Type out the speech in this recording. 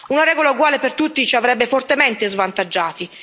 Una regola uguale per tutti ci avrebbe fortemente svantaggiati.